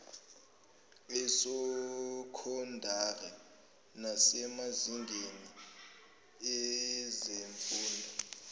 esokhondari nasemazingeni ezemfundo